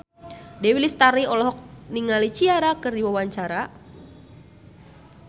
Dewi Lestari olohok ningali Ciara keur diwawancara